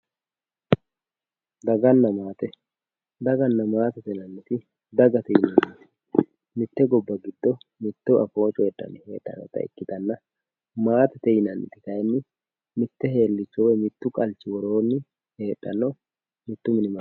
Daganna maate daganna maatete yinanniti dagate yineemmoti mitte gobba giddo mitto afoo coyiidhanni heedhannota ikkitanna maatete yinanniti kayeenni mitte helliicho wioy mittu qalchi woroonni heedhanno mittu mini mannaati